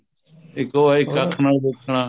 ਇੱਕ ਉਹ ਹੈ ਇੱਕ ਅੱਖ ਨਾਲ ਦੇਖਣਾ